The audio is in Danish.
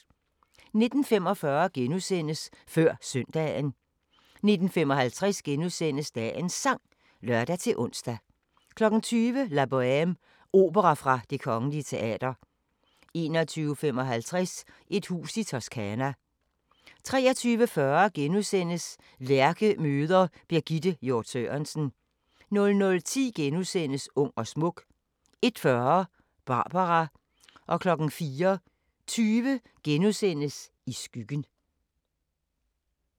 19:45: Før Søndagen * 19:55: Dagens Sang *(lør-ons) 20:00: La Bohème – Opera fra Det Kgl. Teater 21:55: Et hus i Toscana 23:40: Lærke møder Birgitte Hjort Sørensen * 00:10: Ung og smuk * 01:40: Barbara 04:20: I skyggen *